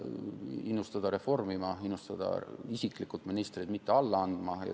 Sai innustada reformima, sai isiklikult innustada ministreid mitte alla andma.